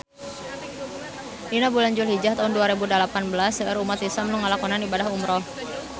Dina bulan Julhijah taun dua rebu dalapan belas seueur umat islam nu ngalakonan ibadah umrah